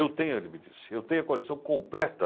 Eu tenho, ele me disse, eu tenho a coleção completa